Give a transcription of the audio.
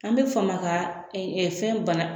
An bɛ fama ka fɛn bana